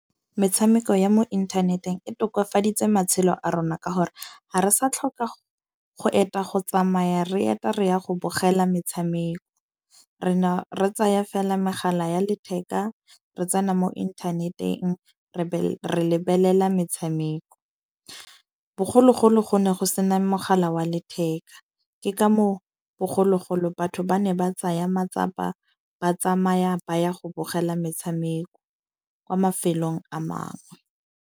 metshameko ya mo inthaneteng e tokafaditse matshelo a rona ka gore ha re sa tlhoka go eta go tsamaya re eta re ya go bogela metshameko. Re na re tsaya fela megala ya letheka, re tsena mo internet-eng re re lebelela metshameko. Bogologolo go ne go sena mogala wa letheka. Ke ka moo bogologolo batho ba ne ba tsaya matsapa, ba tsamaya ba ya go bogela metshameko kwa mafelong a mangwe.